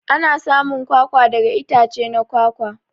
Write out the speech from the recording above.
Ana samun kwakwa daga itace na kwakwa.